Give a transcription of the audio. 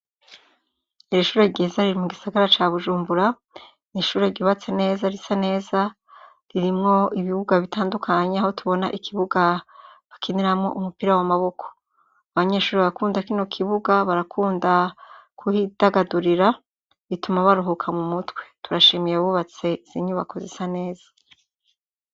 Iri ishure ryiza riri mu gisagara ca bujumbura ni'ishure rgibatse neza ritse neza ririmwo ibibuga bitandukanye aho tubona ikibuga bakiniramwo umupira wa maboko abanyeshuri barakunda kino kibuga barakunda kuhidagadurira rituma baruhuka mu mutwe turashimiye bubatse inyubakoz isa neza.